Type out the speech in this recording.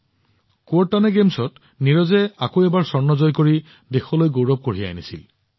Kuortane খেলত নীৰজে আকৌ এবাৰ স্বৰ্ণ জয় কৰি দেশলৈ গৌৰৱ কঢ়িয়াই আনিছিল